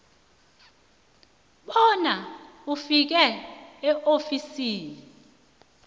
bona ufike eofisini